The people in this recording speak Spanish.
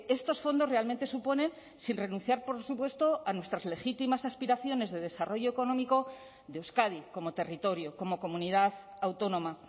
estos fondos realmente suponen sin renunciar por supuesto a nuestras legítimas aspiraciones de desarrollo económico de euskadi como territorio como comunidad autónoma